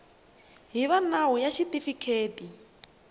hi va nawu ya xitifiketi